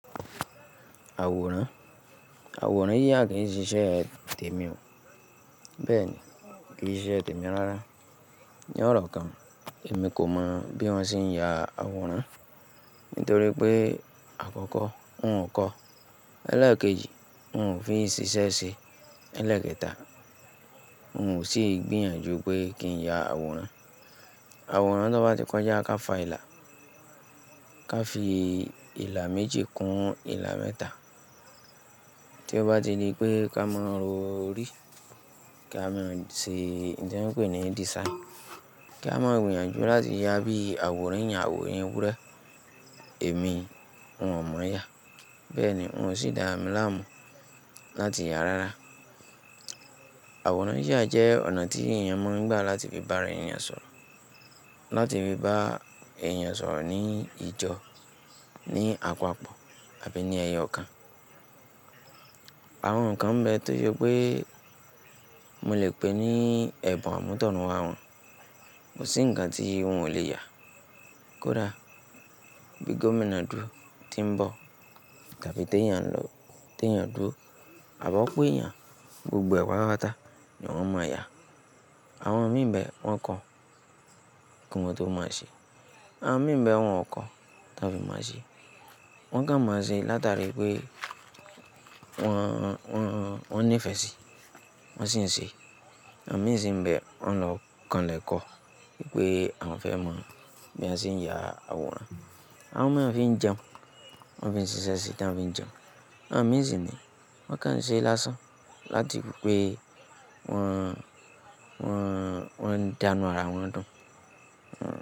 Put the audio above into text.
Àwòrán? Àwòrán yíya kì í ṣíṣe tèmi o. Bẹ́ẹ̀ ni, kì í ṣíṣe tèmi rárá. Ni ọ̀rọ̀ kan, èmi kò mọ bí wọ́n ṣe ń ya àwòrán. Nítorí pé àkọ́kọ́, n ò kọ́, elẹ́ẹ̀keji n ò fi ṣiṣẹ́ ṣe, elẹ́ẹ̀kẹta n ò sì gbìyànjú pé kí n ya àwòrán. Àwòrán tó bá ti kọjá ká fa ìlà, ká fi ìlà méjì kún ìlà mẹ́ta. Tí ó bá ti di pé ká mọ ro orí, ká má ṣe oun tí wọ́n ń pè ní design, ká má gbìyànjú láti yá bí àwòrán eeyàn, àwòrán ewúrẹ́, èmi, n ò mọ̀o ya. Bẹ́ẹ̀ ni, n ò sì dára mí láàmú láti yáa rárá. Àwòrán yíya jẹ́ ọ̀nà tí èèyàn maa n gbà láti fi bá ara èèyàn sọ̀rọ̀, láti fi bá èèyàn sọ̀rọ̀ ní ijó, ní apapọ̀ àbí ní ẹyọ kan. Àwọn nǹkan nbẹ tó jẹ pé mo lè pè ní ẹ̀bùn àmútọ̀runwá wọn, kò sí ǹkan tí wọ́n ò le è ya. Kódà bí gómìnà dúró tí ń bọ̀ tàbí ti eeyàn lọ, ti eeyàn dúró, àb'opo eeyàn, gbogbo rẹ̀ patapa ni wọ́n mọ̀ ya. Àwọn mìíràn bẹ wọ́n kọ́, kí wọn tó mọ̀ ọ́ ṣe. Àwọn mìíràn bẹ wọ́n ò kọ́ tí wọ́n fi mọ̀ọ́ ṣe. Wọ́n kàn mọ̀ ọ́ ṣe látàrí pé wọ́n, wọ́n, wọ́n nífẹ̀ẹ́ sí i, wọ́n sì ń ṣe é. Àwọn mìíràn sì ń bẹ wọ́n lọ kànlẹ̀ kọ́ wípé àwọn fẹ́ mọ̀ bí wón ṣe ń ya àwòrán. Àwọn mìíràn fi ń jẹun, wọ́n fi ń ṣiṣẹ́ sí, tí wọ́n fi ń jẹun. Àwọn mìíràn sì ní wọ́n kàn ṣe láṣán láti kú pé wọ́n, wọ́n, wọ́n ń dánù ara wọn dùn. Wọ́n.